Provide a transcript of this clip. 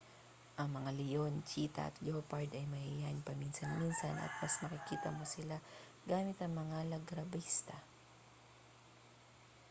ang mga leon cheetah at leopard ay mahiyain paminsan-minsan at mas makikita mo sila gamit ang mga largabista